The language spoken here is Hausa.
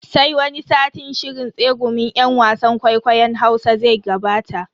Sai wani satin shirin tsegumin yan wasan kwaikwayon Hausa zai gabata.